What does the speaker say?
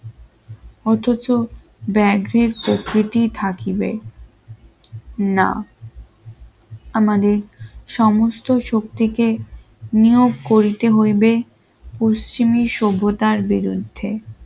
অথচ ব্যাগের প্রকৃতি থাকিবে না আমাদের সমস্ত শক্তিকে নিয়োগ করিতে হইবে পশ্চিমে সভ্যতার বিরুদ্ধে